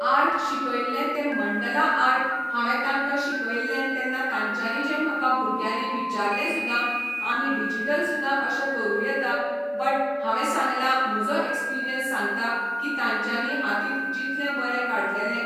art शिकयल्ले तें मंडलां आर्ट हांवें तांकां शिकयल्ले तेन्ना तांच्यानी जे म्हाका भुंरग्यानी विचारल्ले सुदां आमी डिजीटल सुंदा अशें करूं येता बट हांवें सांगलां म्हजो एक्सपिर्यन्स सांगता की तांच्यानी हातीत जितलें बरें काडलेले